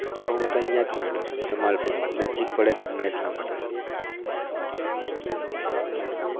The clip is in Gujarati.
હું તો અહિયાં જ ભણેલો છુ જમાલપુરમાં નજીક પડે ઘરના એટલા માટે હમ